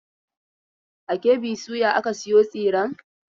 A KB soya aka sayo tsiren.